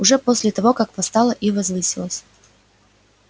уже после того как восстала и возвысилась